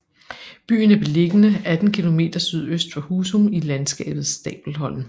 Byen er beliggende 18 km sydøst for Husum i landskabet Stabelholm